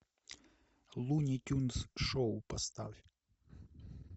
луни тюнз шоу поставь